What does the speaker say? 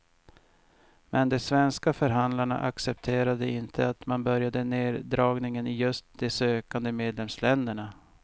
Men de svenska förhandlarna accepterar inte att man börjar neddragningen i just de sökande medlemsländerna.